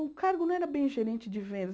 O cargo não era bem gerente de vendas.